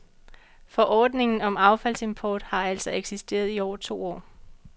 Forordningen om affaldsimport har altså eksisteret i over to år.